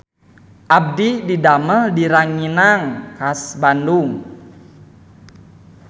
Abdi didamel di Ranginang Khas Bandung